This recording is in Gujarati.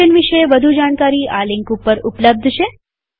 મિશન વિષે વધુ જાણકારી આ લિંક ઉપર ઉપલબ્ધ છે